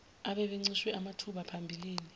ababencishwe amathuba phambilini